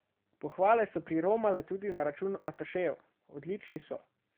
Pohvale so priromale tudi na račun atašejev: "Odlični so.